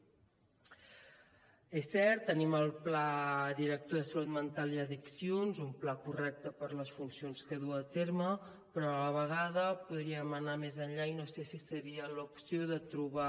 és cert tenim el pla director de salut mental i addiccions un pla correcte per a les funcions que du a terme però a la vegada podríem anar més enllà i no sé si seria l’opció de trobar